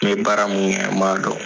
N ye bɛ baara mun kɛ n b'a dɔn.